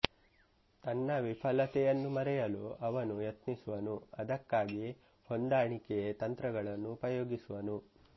ತನ್ನ ವಿಫಲತೆಯನ್ನು ಮರೆಯಲು ಅವನು ಯತ್ನಿಸುವನು ಅದಕ್ಕಾಗಿ ಹೊಂದಾಣಿಕೆ ತಂತ್ರಗಳನ್ನು ಉಪಯೋಗಿಸಿಕೊಳ್ಳುವನು